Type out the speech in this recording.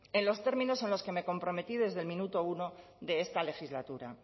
en los términos en los que me comprometí desde el minuto uno de esta legislatura